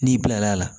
N'i bilal'a la